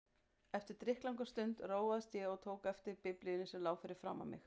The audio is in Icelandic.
Eftir drykklanga stund róaðist ég og tók þá eftir Biblíunni sem lá fyrir framan mig.